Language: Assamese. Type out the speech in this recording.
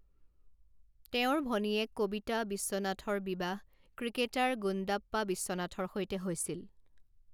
তেওঁৰ ভনীয়েক কবিতা বিশ্বনাথৰ বিবাহ ক্ৰিকেটাৰ গুণ্ডাপ্পা বিশ্বনাথৰ সৈতে হৈছিল।